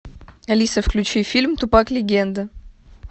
алиса включи фильм тупак легенда